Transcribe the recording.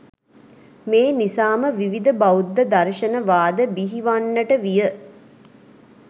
මේ නිසාම විවිධ බෞද්ධ දර්ශන වාද බිහිවන්නට විය.